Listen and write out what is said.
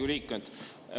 Head Riigikogu liikmed!